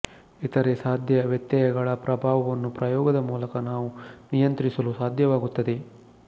ಇತರೆ ಸಾಧ್ಯ ವ್ಯತ್ಯಯಗಳ ಪ್ರಭಾವವನ್ನು ಪ್ರಯೋಗದ ಮೂಲಕ ನಾವು ನಿಯಂತ್ರಿಸಲು ಸಾಧ್ಯವಾಗುತ್ತದೆ